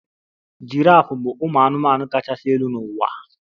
Giraf bụ ụmụ anụmanụ kachasị elu n'ụwa?